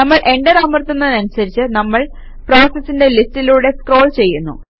നമ്മൾ എന്റർ അമർത്തുന്നതനുസരിച്ച് നമ്മള് പ്രോസസസിന്റെ ലിസ്റ്റിലൂടെ സ്ക്രോൾ ചെയ്യുന്നു